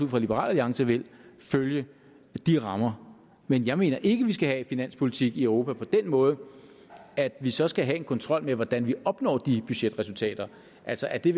fra at liberal alliance vil følge de rammer men jeg mener ikke vi skal have finanspolitik i europa på den måde at vi så skal have en kontrol med hvordan vi opnår de budgetresultater altså at det